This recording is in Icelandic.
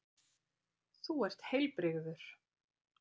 Þú ert heilbrigður.